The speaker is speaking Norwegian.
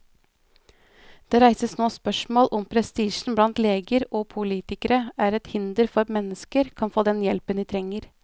Det reises nå spørsmål om prestisjen blant leger og politikere er et hinder for at mennesker kan få den hjelpen de trenger.